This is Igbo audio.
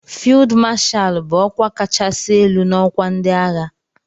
"Field Marshal" bụ ọkwa kachasị elu n'ọkwa ndị agha.